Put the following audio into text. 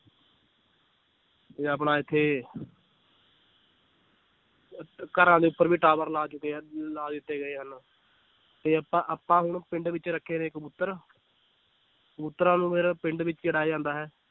ਤੇ ਆਪਣਾ ਇੱਥੇ ਅਹ ਘਰਾਂ ਦੇ ਉੱਪਰ ਵੀ tower ਲਾ ਚੁੱਕੇ ਆ ਲਾ ਦਿੱਤੇ ਗਏ ਹਨ, ਤੇ ਆਪਾਂ ਆਪਾਂ ਹੁਣ ਪਿੰਡ ਵਿੱਚ ਰੱਖੇ ਨੇ ਕਬੂਤਰ ਕਬੂਤਰਾਂ ਨੂੰ ਫਿਰ ਪਿੰਡ ਵਿੱਚ ਹੀ ਰਹਿ ਜਾਂਦਾ ਹੈ l